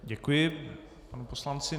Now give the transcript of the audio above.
Děkuji panu poslanci.